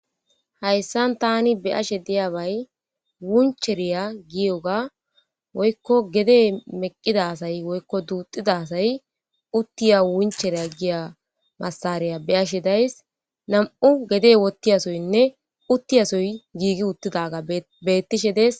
Hayssan taani be7ashe diyobay wuncheriya giyoga woykko gede meqqida asay woykko duuxida asay uttiya wuncheriya giya massariya be7ashe days. nam7u gede wottiyasoynne uttiyasoy giigi uttidaaga bee bettishe des